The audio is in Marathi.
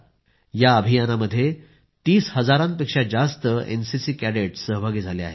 या अभियानामध्ये 30 हजारांपेक्षा जास्त एनसीसी कॅडेटस् सहभागी झाले आहेत